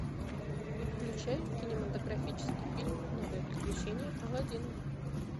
включай кинематографический фильм новые приключения аладдина